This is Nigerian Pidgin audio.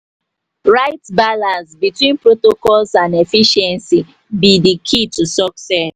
right balance between protocols and efficiency be di key to success.